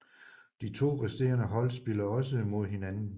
De to resterende hold spiller også mod hinanden